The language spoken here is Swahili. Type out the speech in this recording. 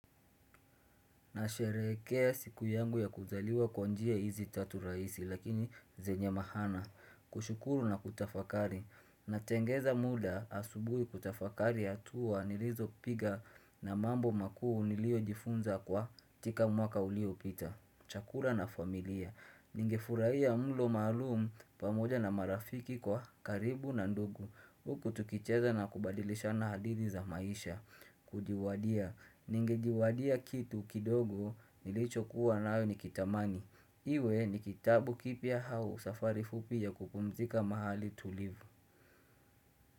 Na sherehekea siku yangu ya kuzaliwa kwa njia hizi tatu rahisi lakini zenye maana kushukuru na kutafakari na tengeza muda asubuhi kutafakari hatua nilizo piga na mambo makuu nilio jifunza kwa tika mwaka ulio pita Chakula na familia Ninge furahia mlo maalum pamoja na marafiki kwa karibu na ndugu hUk utukicheza na kubadilisha na hadithi za maisha Kujiwadia Ningejiwadia kitu kidogo nilicho kuwa nayo ni kitamani Iwe ni kitabu kipya au safari fupi ya kupumzika mahali tulivu.